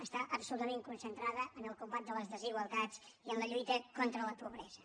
està absolutament concentrada en el combat de les desigualtats i en la lluita contra la pobresa